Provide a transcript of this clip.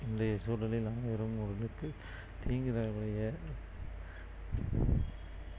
இன்றைய சூழலில் அனைவரும் உடலுக்கு தீங்கு தரக்கூடிய